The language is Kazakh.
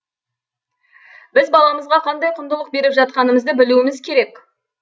біз баламызға қандай құндылық беріп жатқанымызды білуіміз керек